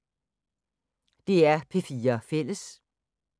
DR P4 Fælles